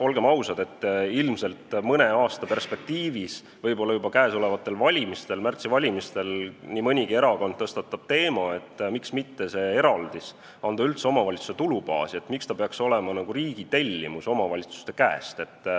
Olgem ausad, ilmselt mõne aasta perspektiivis – võib-olla ka juba märtsis toimuvate valimiste ajal – tõstatab nii mõnigi erakond küsimuse, miks ei võiks anda seda eraldist üldse omavalitsuse tulubaasi, miks ta peaks olema nagu riigi tellimus omavalitsuse käest.